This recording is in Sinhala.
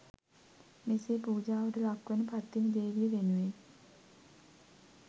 මෙසේ පූජාවට ලක්වන පත්තිනි දේවිය වෙනුවෙන්